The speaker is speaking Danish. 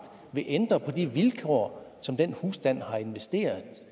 vil ændre på de vilkår som den husstand har investeret